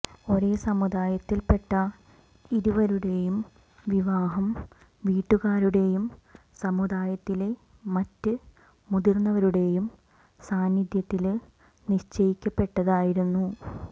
ഒരേ സമുദായത്തില്പെട്ട ഇരുവരുടേയും വിവാഹം വീട്ടുകാരുടേയും സമുദായത്തിലെ മറ്റ് മുതിര്ന്നവരുടേയും സാന്നിദ്ധ്യത്തില് നിശ്ചയിക്കപ്പെട്ടതായിരുന്നു